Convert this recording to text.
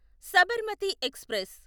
Sabarmati express